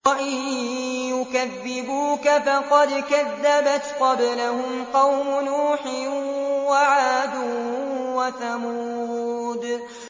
وَإِن يُكَذِّبُوكَ فَقَدْ كَذَّبَتْ قَبْلَهُمْ قَوْمُ نُوحٍ وَعَادٌ وَثَمُودُ